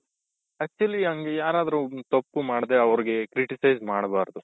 actually ಹಂಗೆ ಯಾರಾದ್ರು ತಪ್ಪು ಮಾಡದೇ ಅವರಿಗೆ criticize ಮಾಡ್ಬಾರ್ದು.